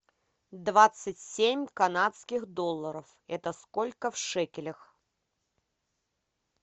двадцать семь канадских долларов это сколько в шекелях